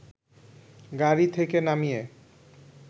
গাড়ি থেকে নামিয়ে